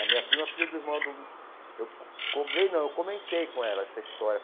A minha prima é filha do irmão do... Eu co cobrei, não, eu comentei com ela essa história.